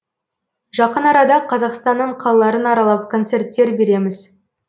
жақын арада қазақстанның қалаларын аралап концерттер береміз